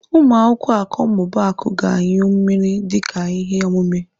Ụmụ akwụkwọ Akọmmụbaaku ga-anyụ mmiri dịka ihe omume.